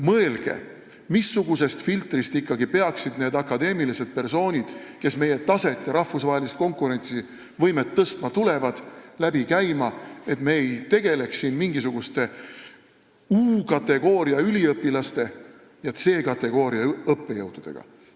Mõelge, missugusest filtrist ikkagi peaksid need akadeemilised persoonid, kes meie taset ja rahvusvahelist konkurentsivõimet tõstma tulevad, läbi käima, et me ei tegeleks siin mingisuguste U-kategooria üliõpilaste ja C-kategooria õppejõududega.